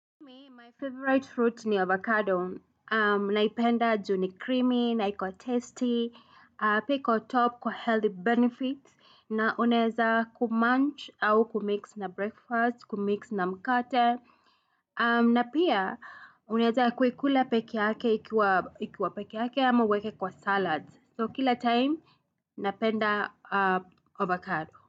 Mi, my favorite fruit ni avocado. Naipenda juu ni creamy, naiko tasty, pia iko top kwa healthy benefits, na uneza kumunch au kumix na breakfast, kumix na mkate, na pia unaeza kuikula peke yake, ikiwa peke yake ama uweke kwa salad. So, kila time, napenda avocado.